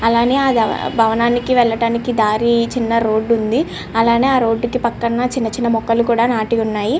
అలానే ఆ భవనానికి వెళ్ళటానికి దారి చిన్న రోడ్ ఉంది అలానే ఆ రోడ్ కి పక్కన చిన్న చిన్న మొక్కలు కూడా నటి ఉన్నాయి.